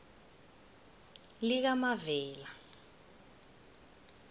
likamavela